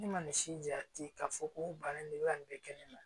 Ne ma nin si jate k'a fɔ ko bana in bɛ ka nin bɛɛ kɛ ne na